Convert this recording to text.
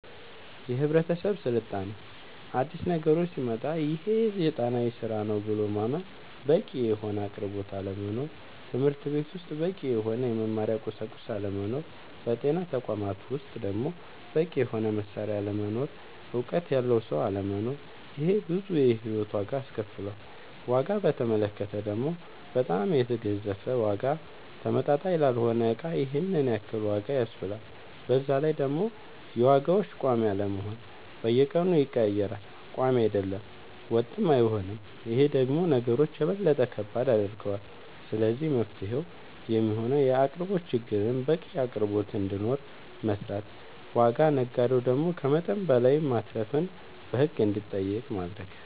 የህብረተሰብ ስልጣኔ አዲስ ነገሮች ሲመጣ ይሄ ሴጣናዊ ስራ ነው ብሎ ማመን በቂ የሆነ አቅርቦት አለመኖር ትምህርትቤት ውስጥ በቂ የሆነ የመማሪያ ቁሳቁስ አለመኖር በጤና ተቋማት ውስጥ ደሞ በቂ የሆነ መሳሪያ አለመኖር እውቀት ያለው ሰው አለመኖር ይሄ ብዙ የሂወት ዋጋ አስከፍሎል ዋጋ በተመለከተ ደሞ በጣም የገዘፈ ዋጋ ተመጣጣኝ ላልሆነ እቃ ይሄንን ያክል ዋጋ ያስብላል በዛላይ ደሞ የዋጋዎች ቆሚ አለመሆን በየቀኑ ይቀያየራል ቆሚ አይደለም ወጥም አይሆንም ይሄ ደሞ ነገሮች የበለጠ ከባድ ያደርገዋል ስለዚህ መፍትሄው የሚሆነው የአቅርቦት ችግርን በቂ አቅርቦት እንዲኖር መስራት ዋጋ ነጋዴው ደሞ ከመጠን በላይ ማትረፍን በህግ እንዲጠየቅ ማረግ